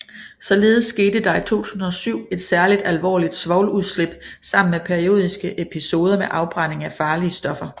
Således skete der i 2007 et særligt alvorligt svovludslip sammen med periodiske episoder med afbrænding af farlige stoffer